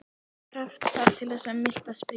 Hvaða krafta þarf til að miltað springi?